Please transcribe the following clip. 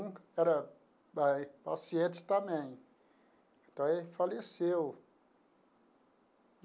Um era paciente também, então ele faleceu.